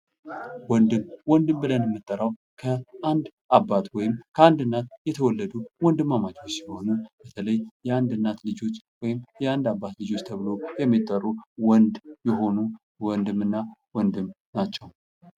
ወንድም ወንድም ብለን የምንጠራው ከአንድ አባት ወይም ከአንድ እናት የተወለዱ ወንድማማቾች ሲሆኑ በተለይ የአንድ እናት ልጆች ወይም የአንድ አባት ልጆች ተብለው የሚጠሩ ወንድ የሆኑ ወንድም እና ወንድም ናቸው።